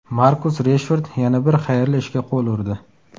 Markus Reshford yana bir xayrli ishga qo‘l urdi.